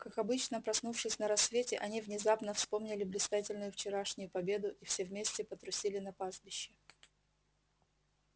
как обычно проснувшись на рассвете они внезапно вспомнили блистательную вчерашнюю победу и все вместе потрусили на пастбище